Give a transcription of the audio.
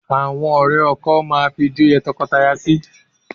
Àwọn ọ̀rẹ́ ọkọ máa fijó yẹ́ tọkọtaya sí